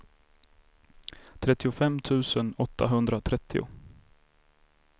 trettiofem tusen åttahundratrettio